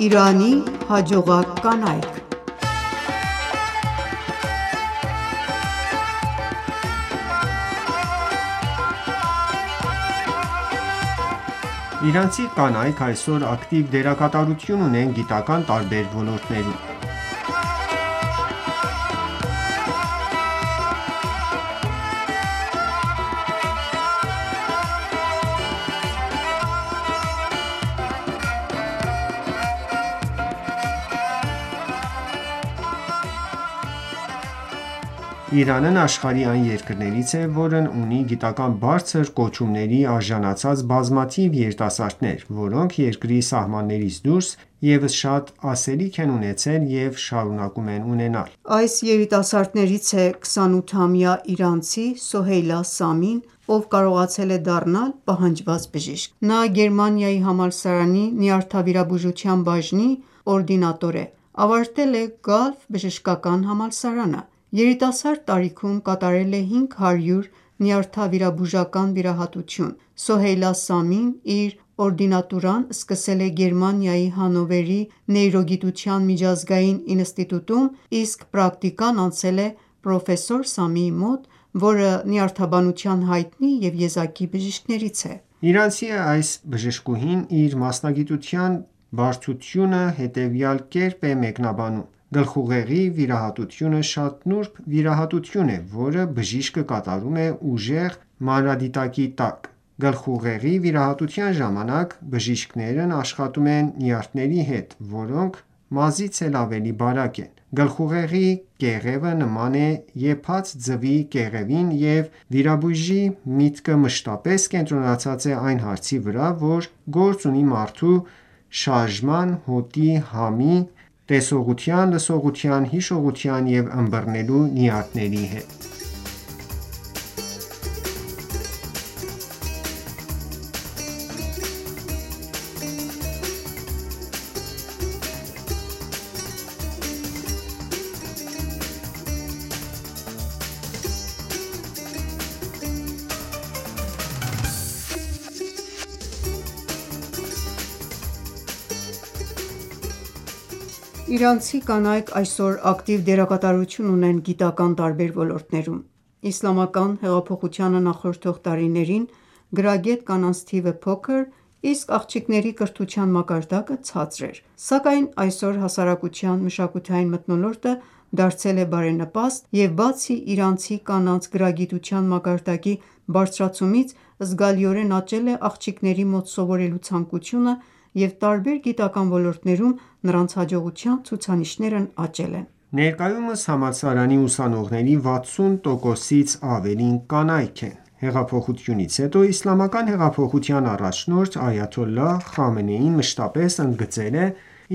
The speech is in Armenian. Իրանի հաջողակ կանայք (2) Իրանցի կանայք այսօր ակտիվ դերակատարություն ունեն գիտական ​​տարբեր ոլորտներում։ Իրանն աշխարհի այն երկրներից է, որն ունի գիտական բարձր կոչումների արժանացած բազմաթիվ երիտասարդներ, որոնք երկրի սահմաններից դուրս ևս շատ ասելիք են ունեցել և շարունակում են ունենալ: Այս երիտասարդներից է 28-ամյա իրանցի Սոհեյլա Սամին, ով կարողացել է դառնալ պահանջված բժիշկ: Նա Գերմանիայի համալսարանի նյարդավիրաբուժության բաժնի օրդինատոր է, ավարտել է Gulf բժշկական համալսարանը: Երիտասարդ տարիքում կատարել է 500 նյարդավիրաբուժական վիրահատություն։ Սոհեյլա Սամին իր օրդինատուրան սկսել է Գերմանիայի Հաննովերի Նեյրոգիտության միջազգային ինստիտուտում, իսկ պրակտիկան անցել է պրոֆեսոր Սամիի մոտ, որը նյարդաբանության հայտնի և եզակի բժիշկներից է: Իրանցի այս բժշկուհին իր մասնագիտության բարդությունը հետևյալ կերպ է մեկնաբանում՝ «Գլխուղեղի վիրահատությունը շատ նուրբ վիրահատություն է, որը բժիշկը կատարում է ուժեղ մանրադիտակի տակ: Գլխուղեղի վիրահատության ժամանակ բժիշկներն աշխատում են նյարդերի հետ, որոնք մազից էլ ավելի բարակ են: Գլխուղեղի կեղևը նման է եփած ձվի կեղևին և վիրաբույժի միտքը մշտապես կենտրոնացած է այն հարցի վրա, որ գործ ունի մարդու շարժման, հոտի, համի, տեսողության, լսողության, հիշողության ու ըմբռնելու նյարդերի հետ»: Իրանցի կանայք այսօր ակտիվ դերակատարություն ունեն գիտական ​​տարբեր ոլորտներում։ Իսլամական հեղափոխությանը նախորդող տարիներին գրագետ կանանց թիվը փոքր, իսկ աղջիկների կրթության մակարդակը ցածր էր։ Սակայն այսօր հասարակության մշակութային մթնոլորտը դարձել է բարենպաստ, և բացի իրանցի կանանց գրագիտության մակարդակի բարձրացումից, զգալիորեն աճել է աղջիկների մոտ սովորելու ցանկությունը և տարբեր գիտական ​​ ոլորտներում նրանց հաջողության ցուցանիշներն աճել են։ Ներկայումս համալսարանի ուսանողների 60 տոկոսից ավելին կանայք են։ Հեղափոխությունից հետո Իսլամական հեղափոխության առաջնորդ Այաթոլլահ Խամենեին մշտապես ընդգծել է